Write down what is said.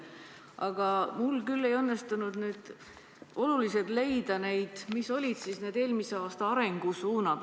Aga mul ei õnnestunud leida, mis olid eelmise aasta olulised arengusuunad.